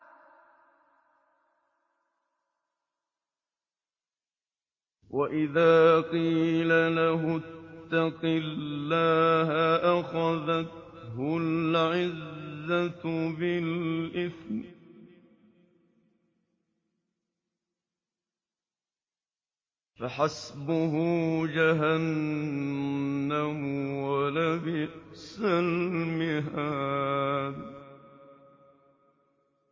وَإِذَا قِيلَ لَهُ اتَّقِ اللَّهَ أَخَذَتْهُ الْعِزَّةُ بِالْإِثْمِ ۚ فَحَسْبُهُ جَهَنَّمُ ۚ وَلَبِئْسَ الْمِهَادُ